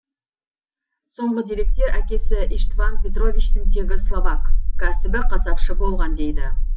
соңғы деректер әкесі иштван петровичтің тегі словак кәсібі қасапшы болған дейді